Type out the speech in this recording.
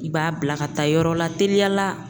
I b'a bila ka taa yɔrɔ la teliya la.